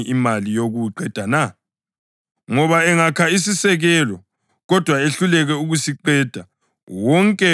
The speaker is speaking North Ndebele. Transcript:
Ngoba engakha isisekelo, kodwa ehluleke ukusiqeda, wonke okubonayo uzamhleka,